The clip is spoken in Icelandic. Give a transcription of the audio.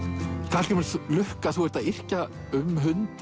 Hallgrímur lukka þú ert að yrkja um hund